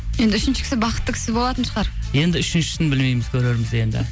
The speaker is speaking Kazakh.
енді үшінші кісі бақытты кісі болатын шығар енді үшіншісін білмейміз көрерміз енді